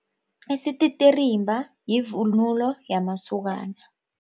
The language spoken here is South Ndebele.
Isititirimba yivunulo yamasokana.